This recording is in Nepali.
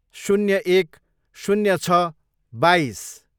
शून्य एक, शून्य छ, बाइस